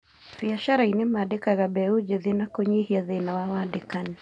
Biacarainĩ mandĩkaga mbeũ njĩthĩ na kũnyihia thĩna wa wandĩkani